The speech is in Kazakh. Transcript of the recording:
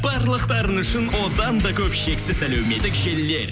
барлықтарыңыз үшін одан да көп шексіз әлеуметтік желілер